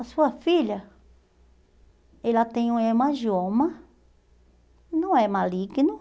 A sua filha, ela tem o hemangioma, não é maligno.